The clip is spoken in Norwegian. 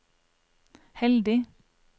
heldig